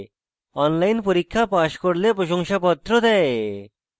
online পরীক্ষা pass করলে প্রশংসাপত্র দেয়